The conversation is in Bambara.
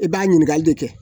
E b'a ɲininkali de kɛ